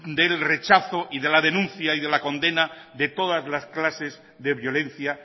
del rechazo y de la denuncia y de la condena de todas las clases de violencia